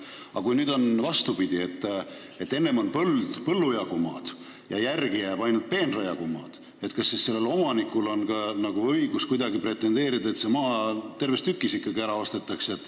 Aga kui on vastupidi, et enne on põllu jagu maad, aga järele jääb ainult peenra jagu maad, kas siis omanikul on ka õigus soovida, et see maa ikkagi terves tükis ära ostetakse?